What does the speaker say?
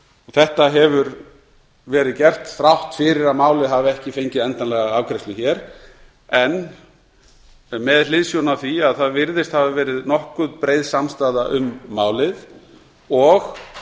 þetta hefur verið gert þrátt fyrir að málið hafi ekki fengið endanlega afgreiðslu hér en með hliðsjón af því að það virðist hafa verið nokkuð breið samstaða um málið og